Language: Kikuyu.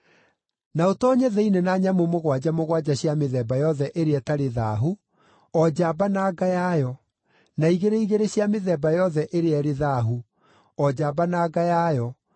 Na ũtoonye thĩinĩ na nyamũ mũgwanja mũgwanja cia mĩthemba yothe ĩrĩa ĩtarĩ thaahu, o njamba na nga yayo, na igĩrĩ igĩrĩ cia mĩthemba yothe ĩrĩa ĩrĩ thaahu, o njamba na nga yayo,